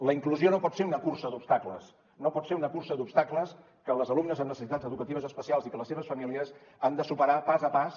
la inclusió no pot ser una cursa d’obstacles no pot ser una cursa d’obstacles que les alumnes amb necessitats educatives especials i que les seves famílies han de superar pas a pas